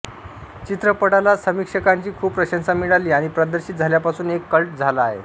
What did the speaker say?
चित्रपटाला समीक्षकांची खूप प्रशंसा मिळाली आणि प्रदर्शित झाल्यापासून एक कल्ट झाला आहे